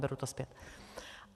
Beru to zpět.